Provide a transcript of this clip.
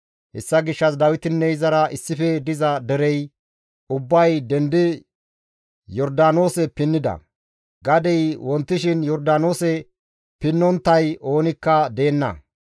Hessa gishshas Dawitinne izara issife diza derey ubbay dendi Yordaanoose pinnida; gadey wontishin Yordaanoose pinnonttay oonikka deenna.